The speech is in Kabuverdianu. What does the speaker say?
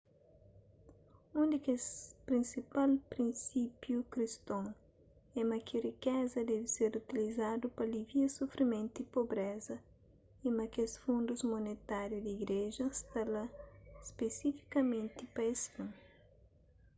un di kes prinsipal prinsípiu kriston é ma ki rikeza debe ser utilizadu pa alivia sufrimentu y pobreza y ma kes fundus monetáriu di igreja sta lá spesifikamenti pa es fin